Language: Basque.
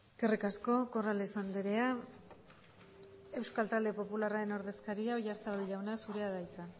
eskerrik asko corrales andrea euskal talde popularraren ordezkaria oyarzabal jauna zurea da hitza